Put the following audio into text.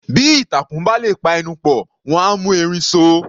Bí ìtàkùn bá lè pa ẹnu pọ̀, wọ́n á mú erin so.